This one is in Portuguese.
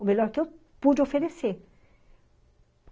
O melhor que eu pude oferecer.